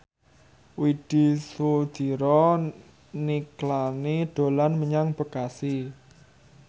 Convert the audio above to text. Widy Soediro Nichlany dolan menyang Bekasi